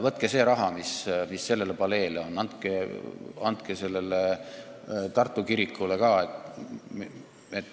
Võtke see raha, mis sellele paleele on mõeldud, ja andke sellele Tartu kirikule ka.